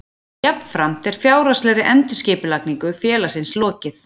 Jafnframt er fjárhagslegri endurskipulagningu félagsins lokið